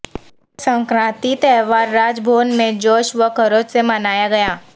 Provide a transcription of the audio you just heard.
سنکرانتی تہوار راج بھون میں جوش و خروش سے منایا گیا